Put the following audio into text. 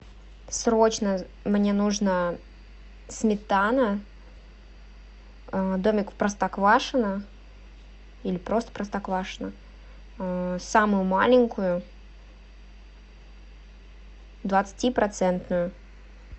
срочно мне нужно сметана домик в простоквашино или просто простоквашино самую маленькую двадцати процентную